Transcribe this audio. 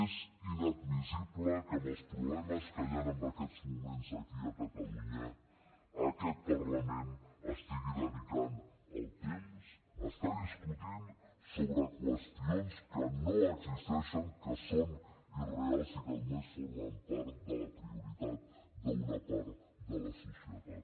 és inadmissible que amb els problemes que hi han en aquests moments aquí a catalunya aquest parlament estigui dedicant el temps a estar discutint sobre qüestions que no existeixen que són irreals i que només formen part de la prioritat d’una part de la societat